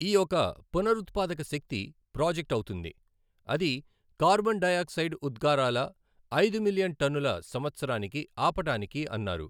ఈ ఒక పునరుత్పాదక శక్తి ప్రాజెక్ట్ అవుతుంది, అది కార్బన్ డయాక్సైడ్ ఉద్గారాల ఐదు మిలియన్ టన్నుల సంవత్సరానికి ఆపటానికి అన్నారు.